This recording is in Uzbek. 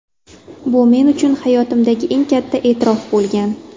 Bu men uchun hayotimdagi eng katta e’tirof bo‘lgan.